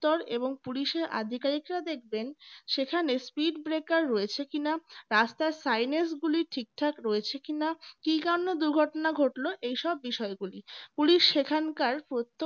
police এর আধিকারিকরা দেখবেন সেখানে speed breaker রয়েছে কিনা রাস্তার সাইনাস গুলি ঠিকঠাক রয়েছে কিনা কি জন্য দুর্ঘটনা ঘটল এসব বিষয়গুলি police সেখানকার